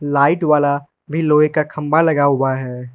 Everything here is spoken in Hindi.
लाइट वाला भी लोहे का खंभा लगा हुआ है।